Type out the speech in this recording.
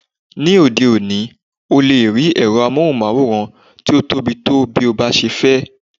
Ní òde òní,o lè rí ẹ̀rọ amóhùnmáwòrán tí o tóbi tó bí o bá ṣe fẹ́.